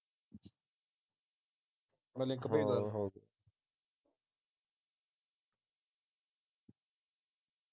ਮੈਂ ਲਿੰਕ ਭੇਜਦਾ